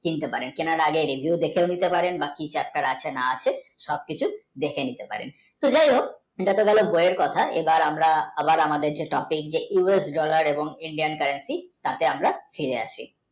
কেনার আগে review দেখে নিতে পারেন বা কী feature আছে না অচ্ছে সব কিছু দেখে নিতে পারেন যায় হোক বইয়ের কথা এবার আমাদের topic নিয়ে US dollar ও Indian, currency তাতে আমরা ফিরে আসি